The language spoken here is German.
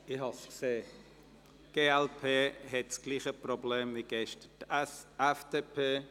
Die glp hat heute dasselbe Problem beim Abstimmen wie gestern die FDP.